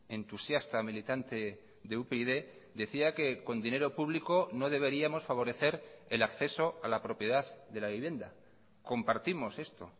entusiasta militante de upyd decía que con dinero público no deberíamos favorecer el acceso a la propiedad de la vivienda compartimos esto